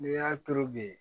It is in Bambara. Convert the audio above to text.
N'i y'a turu bi